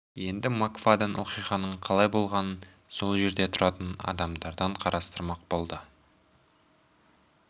енді мак фадден оқиғаның қалай болғанын сол жерде тұратын адамдардан сұрастырмақ болды